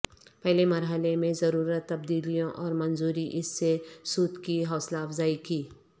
پہلے مرحلے میں ضرورت تبدیلیوں اور منظوری اس سے سود کی حوصلہ افزائی کی